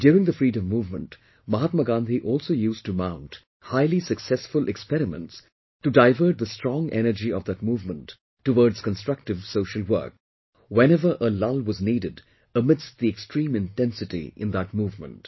During the freedom movement, Mahatma Gandhi also used to mount highly successful experiments to divert the strong energy of that movement towards constructive social work, whenever a lull was needed amidst the extreme intensity in that movement